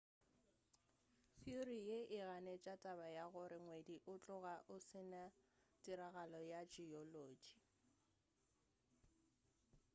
theory ye e ganetša taba ya gore ngwedi o tloga o se na tiragalo ya geology